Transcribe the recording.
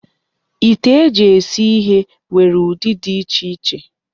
Ite eji esi ihe nwere ụdị dị iche iche.